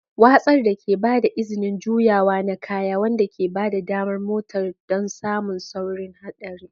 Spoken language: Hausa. Watsar da ke ba da izinin juyawa na kaya, wanda ke ba da damar motar don samun saurin haɗarin.